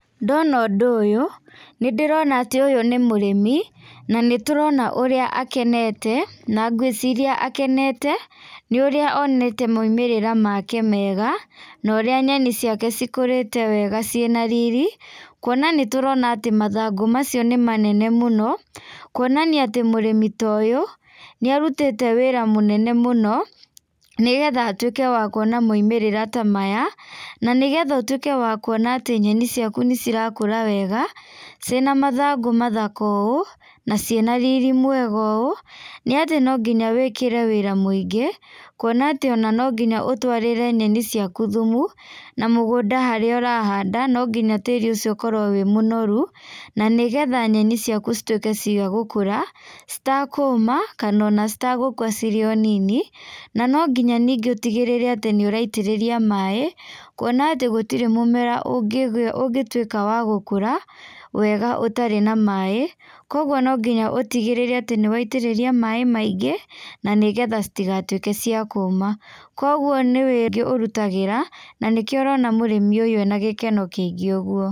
Ndona ũndũ ũyũ, nĩ ndĩrona atĩ ũyũ nĩ mũrĩmi na nĩtũrona ũrĩa akenete, na ngwĩreciria akenete nĩ ũrĩa onete maũmĩrĩra make mega, na ũrĩa nyeni ciake cikũrĩte wega cina riri, kuona atĩ nĩtũrona mathangũ macio nĩ manene mũno, kwonania atĩ mũrĩmi ta ũyũ nĩ arũtĩte wĩra mũnene mũno nĩgetha atũike wakuona maũmĩrĩra ta maya, na nĩgetha atwĩke wa kuona ta nyeni ciakũ nĩ irakũra wega cina mathangũ mathaka ũũ na cina riri mwega ũũ, nĩ atĩ no nginya wĩkĩre wĩra mũingĩ kuona atĩ no nginya ũtwarĩre nyeni ciakũ thũmũ, na mũgũnda harĩa urahanda no nginya tĩri ũcio ũkorwo wĩ mũnorũ, na nĩgetha nyeni ciakũ citwĩike cia gũkũra, citakũũma, kana ona citagũkua irĩ o nini, na no ningĩũtigĩrĩre atĩ nĩ ũraitĩrĩria maaĩ, kuona atĩ gũtire mũmera ũgĩ ũgĩtwika wa gũkũra wega, ũtarĩ na maaĩ kwogwo no mũhaka ũtigĩrĩre atĩ nĩ waitĩrĩria maaĩ maingĩ na nĩgetha citigatwĩke cia kũũma, kwogwo nĩ wĩrutagira na nĩkĩo ũrona mũrĩmu ũyũ ena gĩkeno kĩingi ũgwo.